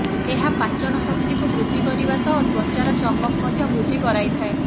ଏହା ପାଚନ ଶକ୍ତିକୁ ବୃଦ୍ଧି କରିବା ସହ ତ୍ବଚାର ଚମକ୍ ମଧ୍ୟ ବୃଦ୍ଧି କରାଇଥାଏ